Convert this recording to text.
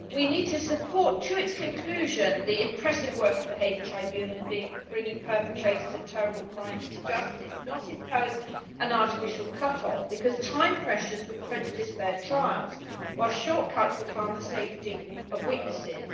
Madam President, we need to support, to its conclusion, the impressive work of the Hague Tribunal in bringing perpetrators of terrible crimes to justice and not impose an artificial cut off, because time pressures would prejudice fair trials while shortcuts would harm the safety of witnesses.